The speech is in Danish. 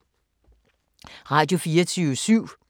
Radio24syv